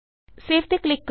save ਤੇ click ਕਰੋ